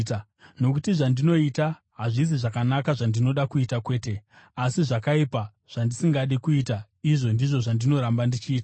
Nokuti zvandinoita hazvisi zvakanaka zvandinoda kuita, kwete, asi zvakaipa zvandisingadi kuita izvo ndizvo zvandinoramba ndichiita.